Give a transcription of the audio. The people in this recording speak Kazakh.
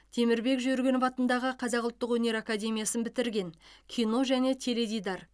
темірбек жүргенов атындағы қазақ ұлттық өнер академиясын бітірген кино және теледидар